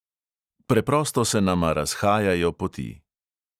Preprosto se nama razhajajo poti.